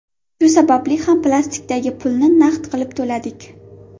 Shu sababli ham plastikdagi pulni naqd qilib to‘ladik.